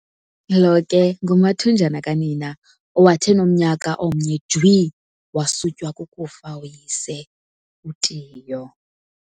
lo ke ngumathunjana kanina, owathi enomnyaka omnye jwi, wasutywa kukufa uyise, uTiyo.